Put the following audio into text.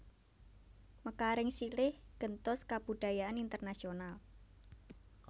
Mekaring silih gentos kabudayan internasional